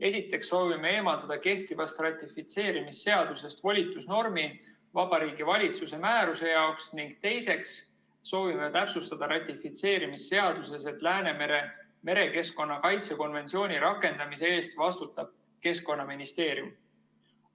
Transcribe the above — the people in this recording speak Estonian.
Esiteks soovime eemaldada kehtivast ratifitseerimisseadusest volitusnormi Vabariigi Valitsuse määruse jaoks, ning teiseks soovime täpsustada ratifitseerimisseaduses, et Läänemere merekeskkonna kaitse konventsiooni rakendamise eest vastutab Keskkonnaministeerium.